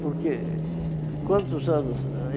Porque... Quantos anos eh?